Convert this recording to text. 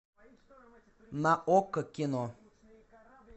на окко кино